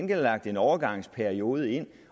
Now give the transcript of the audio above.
der lagt en overgangsperiode ind